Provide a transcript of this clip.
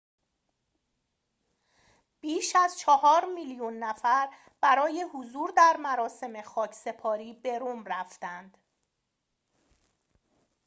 بیش از چهار میلیون نفر برای حضور در مراسم خاکسپاری به رم رفتند